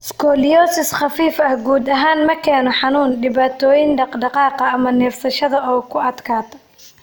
Scoliosis khafiif ah guud ahaan ma keeno xanuun, dhibaatooyin dhaqdhaqaaqa, ama neefsashada oo ku adkaata.